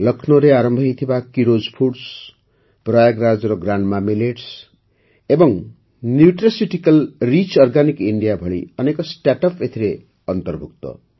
ଲକ୍ଷ୍ନୌରେ ଆରମ୍ଭ ହୋଇଥିବା କିରୋଜ୍ ଫୁଡ୍ସ ପ୍ରୟାଗରାଜ୍ର ଗ୍ରାଣ୍ଡମା ମିଲେଟ୍ସ ଏବଂ ନ୍ୟୁଟ୍ରାସ୍ୟୁଟିକାଲ ରିଚ୍ ଅର୍ଗାନିକ ଇଣ୍ଡିଆ ଭଳି ଅନେକ ଷ୍ଟାର୍ଟଅପ୍ ଏଥିରେ ଅନ୍ତର୍ଭୁକ୍ତ